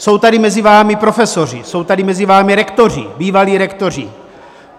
Jsou tady mezi vámi profesoři, jsou tady mezi vámi rektoři, bývalí rektoři.